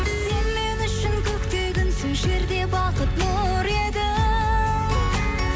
сен мен үшін көкте күнсің жерде бақыт нұр едің